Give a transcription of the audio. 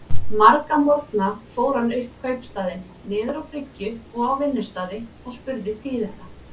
Marga morgna fór hann um kaupstaðinn, niður á bryggju og á vinnustaði, og spurði tíðinda.